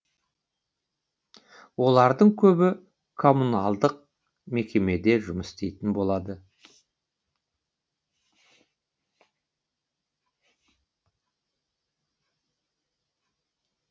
олардың көбі коммуналдық мекемеде жұмыс істейтін болады